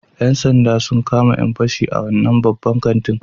‘Yan sanda sun kama ‘yan fashi a wannan babban kantin